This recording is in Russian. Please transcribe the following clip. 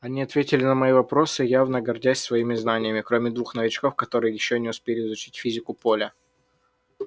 они ответили на мои вопросы явно гордясь своими знаниями кроме двух новичков которые ещё не успели изучить физику поля